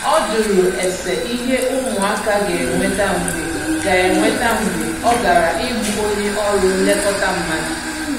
ọ jụrụ ese ìhé ụmụaka ga enweta mgbe ga enweta mgbe ọ gara ịhụ onye ọrụ nlekọta mmadụ